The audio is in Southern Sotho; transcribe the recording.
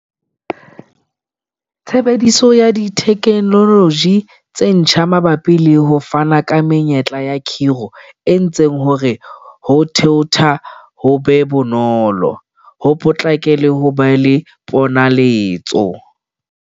Tshebediso ya dithekenoloji tse ntjha mabapi le ho fana ka menyetla ya khiro e entse hore ho thaotha ho be bonolo, ho potlake le ho ba le ponaletso.